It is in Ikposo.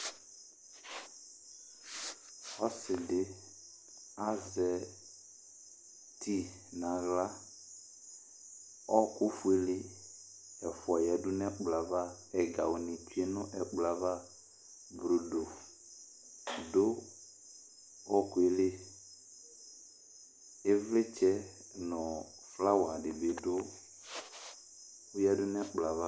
Ɔsɩ azɛ ti nʋ aɣla Ɔɣɔkʋ fuele ɛfʋa yǝdu nʋ ɛkplɔ yɛ ava, ɛgawʋnɩ tsue nʋ ɛkplɔ yɛ ava Brodo dʋ ɔɣɔkʋ yɛ li, ɩvlɩtsɛ nʋ flawa dɩ bɩ dʋ, ɔyǝdu nʋ ɛkplɔ yɛ ava